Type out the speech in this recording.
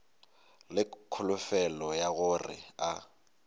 le kholofelo ya gore a